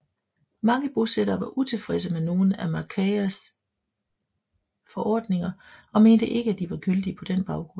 Mange bosættere var utilfredse med nogle af Macquaries forordninger og mente ikke at de var gyldige på den baggrund